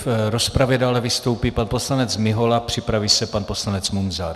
V rozpravě dále vystoupí pan poslanec Mihola, připraví se pan poslanec Munzar.